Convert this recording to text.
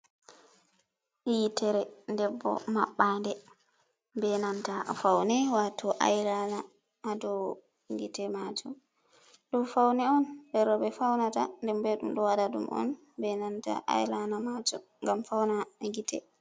Yiitere debbo maɓɓande, be nanta faune waato ailana haa dou gite majum. Ɗum faune on jei rowɓe faunata, nden be ɗum ɗo wada ɗum on be nanta ailana majum ngam fauna gite.